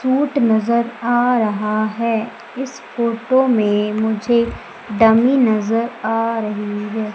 Suit नजर आ रहा है इस फोटो में मुझे डमी नजर आ रही है।